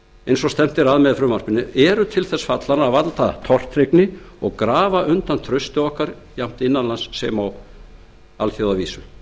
eins og stefnt er að með frumvarpinu eru til þess fallin að valda tortryggni og grafa undan trausti okkar jafnt innan lands sem og á alþjóðavísu